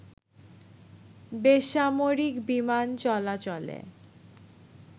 বেসামরিক বিমান চলাচলে